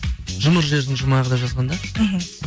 жұмыр жердің жұмағы деп жазған да мхм